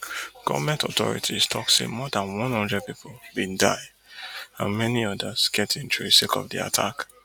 goment authorities tok say more dan one hundred pipo bin die and many odas get injury sake of di attack